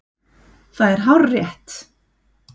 Það er hárrétt!